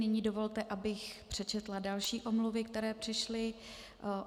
Nyní dovolte, abych přečetla další omluvy, které přišly.